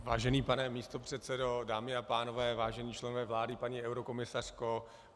Vážený pane místopředsedo, dámy a pánové, vážení členové vlády, paní eurokomisařko.